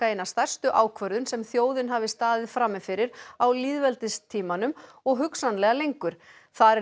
einni stærstu ákvörðun sem þjóðin hafi staðið frammi fyrir á lýðveldistímanum og hugsanlega lengur þar